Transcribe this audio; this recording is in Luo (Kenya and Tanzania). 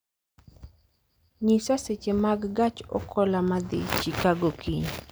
nyisa seche mag gach okoloma dhi chicago kiny